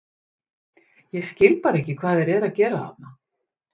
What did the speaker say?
Ég skil bara ekki hvað þeir eru að gera þarna?